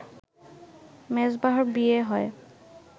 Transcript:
মেজবাহর বিয়ে হয়